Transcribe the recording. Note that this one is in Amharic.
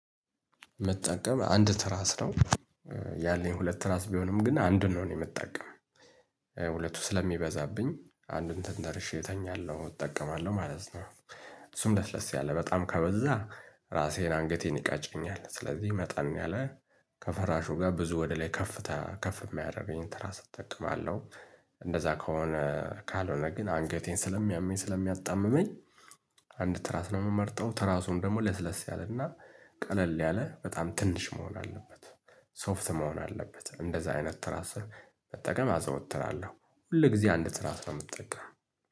ምጠቀም አንድ ትራስ ነው ያለኝ ሁለት ትራስ ቢሆንም ግን አንዱን ነው እኔ የምጠቀመው ሁለቱ ስለሚበዛብኝ አንዱን ተንተርሼ እተኛለሁ እጠቀማለሁ ማለት ነው። እሱም ለስለስ ያለ በጣም ከበዛ ራሴን አንገቴን ይቀጨኛል ስለዚህ መጠን ያለ ከፈራሹ ጋር ብዙ ወደ ላይ ከፍታ ከፍ የማያደርገኝ ትራስ እጠቀማለሁ። እንደዛ ከሆነ ካልሆነ ግን አንገቴን ስለሚያመኝ ስለሚያጣምመኝ አንድ ትራስ ነው የምመርጠው። ትራሱን ደግሞ ለስለስ ያለና ቀለል ያለ በጣም ትንሽ መሆን አለበት። ሶፍት መሆን አለበት እንደዛ አይነት ትራስ መጠቀም አዘውትራለሁ። ሁል ጊዜ አንድ ትስራስ ነው ምጠቀመው